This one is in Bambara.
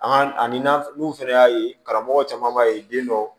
An ka ani n'a n'u fɛnɛ y'a ye karamɔgɔ caman b'a ye den dɔ